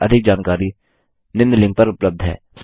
इस मिशन पर अधिक जानकारी निम्न लिंक पर उपलब्ध है